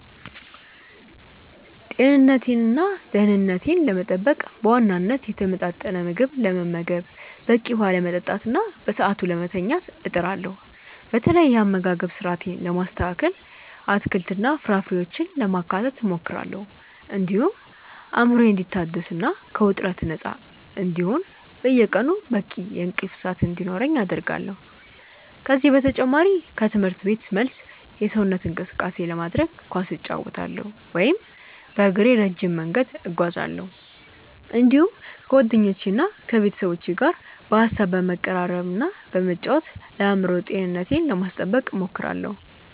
ጤንነቴንና ደኅንነቴን ለመጠበቅ በዋናነት የተመጣጠነ ምግብ ለመመገብ፣ በቂ ውኃ ለመጠጣትና በሰዓቱ ለመተኛት እጥራለሁ። በተለይ የአመጋገብ ስርአቴን ለማስተካከል አትክልትና ፍራፍሬዎችን ለማካተት እሞክራለሁ፤ እንዲሁም አእምሮዬ እንዲታደስና ከውጥረት ነፃ እንዲሆን በየቀኑ በቂ የእንቅልፍ ሰዓት እንዲኖረኝ አደርጋለሁ። ከዚህ በተጨማሪ ከትምህርት ቤት መልስ የሰውነት እንቅስቃሴ ለማድረግ ኳስ እጫወታለሁ ወይም በእግሬ ረጅም መንገድ እጓዛለሁ፤ እንዲሁም ከጓደኞቼና ከቤተሰቦቼ ጋር በሐሳብ በመቀራረብና በመጫወት ለአእምሮ ጤንነቴ ለማስጠበቅ እሞክራለሁ።